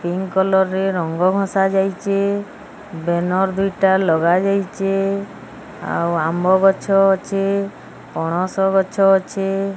Pink colour ରେ ରଙ୍ଗ ଘସା ଯାଇଚି ବେନର ଦୁଇଟା ଲଗାଯାଇଚି। ଆଉ ଆମ୍ୱ ଗଛ ଅଚି ପଣସ ଗଛ ଅଚି।